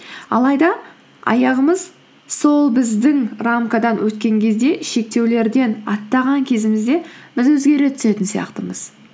алайда аяғымыз сол біздің рамкадан өткен кезде шектеулерден аттаған кезімізде біз өзгере түсетін сияқтымыз